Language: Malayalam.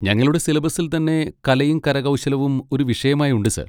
ഞങ്ങളുടെ സിലബസ്സിൽ തന്നെ കലയും കരകൗശലവും ഒരു വിഷയമായി ഉണ്ട്, സർ.